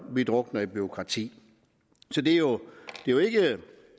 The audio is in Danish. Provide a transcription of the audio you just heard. vi drukner i bureaukrati så det er jo